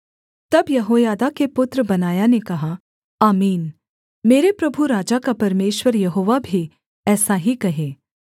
तब यहोयादा के पुत्र बनायाह ने कहा आमीन मेरे प्रभु राजा का परमेश्वर यहोवा भी ऐसा ही कहे